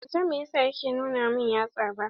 Ban san meyasa yake nuna min yatsa ba.